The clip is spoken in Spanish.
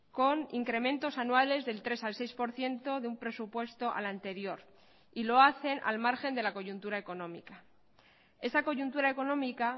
con incrementos anuales del tres al seis por ciento de un presupuesto al anterior y lo hacen al margen de la coyuntura económica esa coyuntura económica